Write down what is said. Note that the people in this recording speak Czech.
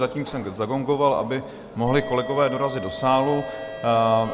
Zatím jsem zagongoval, aby mohli kolegové dorazit do sálu.